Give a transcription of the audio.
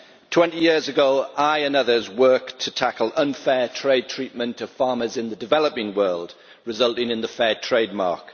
Twenty years ago I and others worked to tackle unfair trade treatment of farmers in the developing world, resulting in the Fairtrade mark.